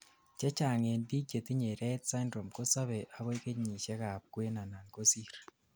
chechang en biik chetinyei rett syndrome kosobei akoi kenyisiek ab kwen anan kosir